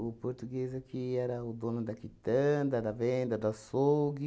O português aqui era o dono da quitanda, da venda, do açougue.